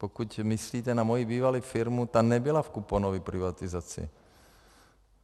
Pokud myslíte na moji bývalou firmu, ta nebyla v kuponové privatizaci.